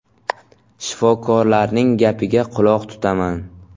Shifokorlarning gapiga quloq tutaman.